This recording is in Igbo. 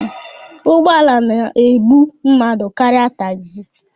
Ụgbọ ala na-ebu mmadụ karịa tagzi.